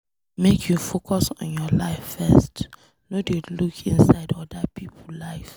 Make you focus on your life first, no dey look inside oda pipo life.